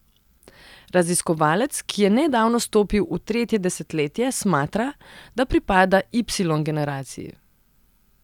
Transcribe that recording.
Raziskovalec, ki je nedavno stopil v tretje desetletje, smatra, da pripada ipsilon generaciji.